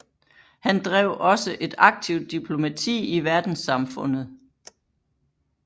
Han drev også et aktivt diplomati i verdenssamfundet